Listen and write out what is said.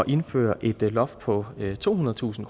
indføre et loft på tohundredetusind